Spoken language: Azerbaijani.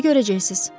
İndi görəcəksiz.